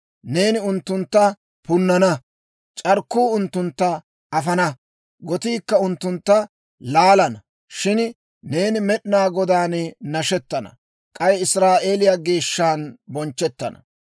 Neeni unttuntta punnana; c'arkkuu unttuntta afana; gotiikka unttuntta laalana. Shin neeni Med'inaa Godaan nashettana; k'ay Israa'eeliyaa Geeshshan bonchchettana.